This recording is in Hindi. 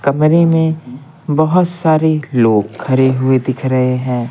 कमरे में बहुत सारे लोग खड़े हुए दिख रहे हैं।